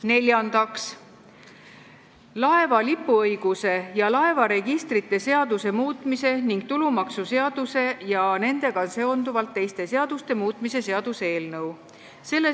Neljandaks, laeva lipuõiguse ja laevaregistrite seaduse muutmise ning tulumaksuseaduse ja nendega seonduvalt teiste seaduste muutmise seaduse eelnõu.